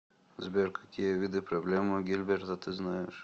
сбер какие виды проблемы гильберта ты знаешь